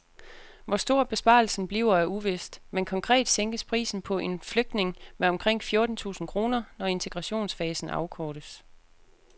Hvor stor besparelsen bliver er uvist, men konkret sænkes prisen på en flygtning med omkring fjorten tusind kroner, når integrationsfasen afkortes.